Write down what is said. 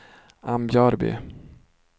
Ambjörby